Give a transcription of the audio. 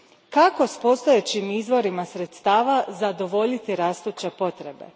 Kako s postojećim izvorima sredstava zadovoljiti rastuće potrebe?